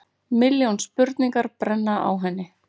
Milljón spurningar brenna á henni.